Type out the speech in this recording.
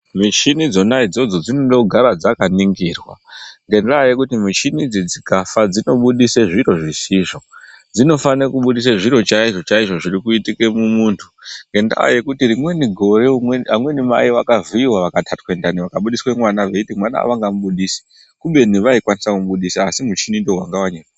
Michini dzona idzodzo dzinoda kugara dzakaningirwa, ngendaa yekuti michini dzi dzikafa dzinobudisa zviro zvisizvo. Dzinofanira kubudisa zviro chaizvo chaizvo zviri kuitika mumuntu, ngendaa yekuti rimweni gore amweni mai vakavhiyiwa vakatatwa ndani vakabudiswa mwana veiti mwana avangamubudisi kubeni vaikwanisa kumubudisa asi muchini ndiwo wanga wanyepa